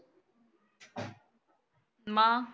मग.